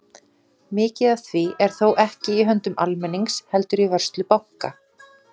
Mikið af því er þó ekki í höndum almennings heldur í vörslu banka.